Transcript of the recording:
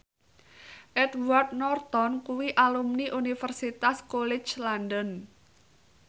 Edward Norton kuwi alumni Universitas College London